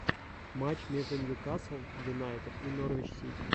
матч между ньюкасл юнайтед и норвич сити